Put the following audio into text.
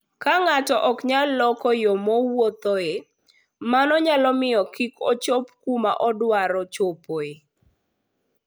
Ka ng'ato ok nyal loko yo mowuothoe, mano nyalo miyo kik ochop kuma odwaro chopoe.